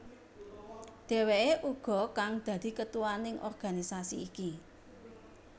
Dheweké uga kang dadi ketuaning organisasi iki